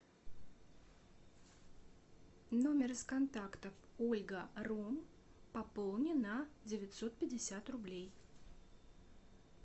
номер из контактов ольга ром пополни на девятьсот пятьдесят рублей